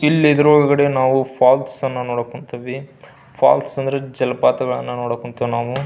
ಇಲ್ಲಿ ಇದರ ಒಳಗಡೆ ನಾವು ಫಾಲ್ಸ್ ಅನ್ನ ನೋಡಕ್ ಹೊಂಥಿವಿ ಫಾಲ್ಸ್ ಅಂದ್ರೆ ಜಲಪಾತ ನೋಡಕ್ ಹೊಂಥಿವಿ ನಾವು--